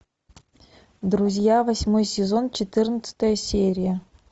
друзья восьмой сезон четырнадцатая серия